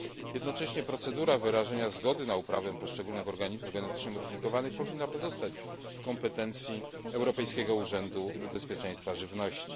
Jednocześnie procedura wyrażenia zgody na uprawę poszczególnych organizmów genetycznie modyfikowanych powinna pozostać w kompetencji Europejskiego Urzędu Bezpieczeństwa Żywności.